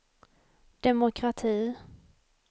demokrati